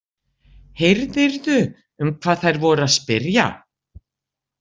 Heyrðirðu um hvað þær voru að spyrja?